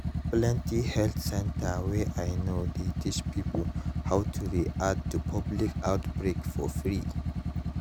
plenty health center wey i know dey teach pipo how to react to public outbreak for free